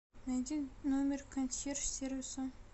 найди номер консьерж сервиса